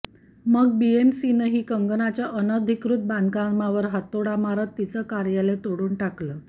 मग बीएमसीनेही कंगनाच्या अनाधिकृत बांधकामावर हातोडा मारत तिचं कार्यालय तोडून टाकलं